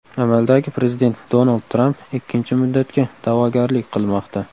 Amaldagi prezident Donald Tramp ikkinchi muddatga da’vogarlik qilmoqda.